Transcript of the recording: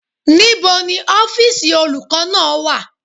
Níbo ni ọ́fìsì olùkọ́ náà wà?